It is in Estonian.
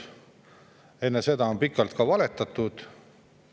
Ja enne seda on pikalt valetatud.